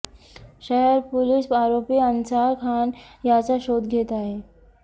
शहर पोलीस आरोपी अन्सार खान याचा शोध घेत आहे